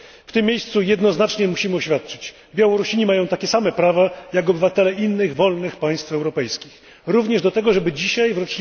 W tym miejscu jednoznacznie musimy oświadczyć Białorusini mają takie same prawa jak obywatele innych wolnych państw europejskich, również do tego, żeby dzisiaj, w